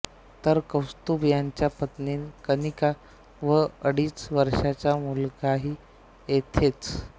तर कौस्तुभ यांच्या पत्नी कनिका व अडीच वर्षांचा मुलगाही येथेच